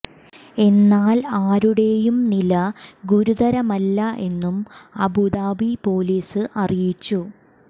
എന്നാൽ ആരു ടെയും നില ഗുരുതര മല്ല എന്നും അബുദാബി പോലീസ് അറിയിച്ചു